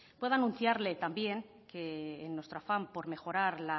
puedo anunciarle también que en nuestro afán por mejorar